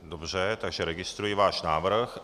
Dobře, takže registruji váš návrh.